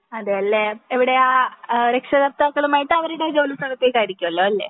അതെ അല്ലെ എവിടെയാ രക്ഷാകർത്താകളുമായിട്ട് അവരുടെ ജോലി സ്ഥലത്തേക്കു ആയിരിക്കുമല്ലോ അല്ലെ